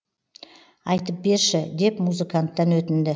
айтып берші деп музыканттан өтінді